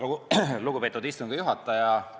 Väga lugupeetud istungi juhataja!